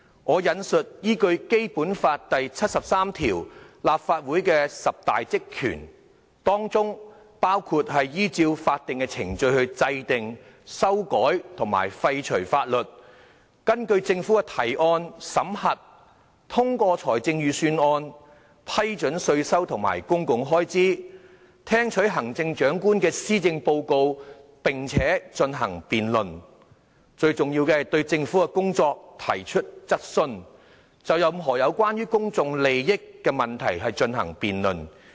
根據《基本法》第七十三條所列立法會的十大職權包括"......依照法定程序制定、修改和廢除法律"；"根據政府的提案，審核、通過財政預算"；"批准稅收和公共開支"；"聽取行政長官的施政報告並進行辯論"；而最重要的是"對政府的工作提出質詢"和"就任何有關公共利益問題進行辯論"。